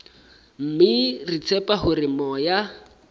mme re tshepa hore moya